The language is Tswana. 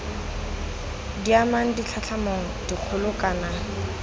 di amang ditlhatlhamano dikgolo kana